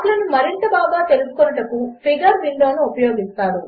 ప్లాట్లనుమరింతబాగాతెలుసుకొనుటకుఫిగర్విండోనుఉపయోగిస్తారు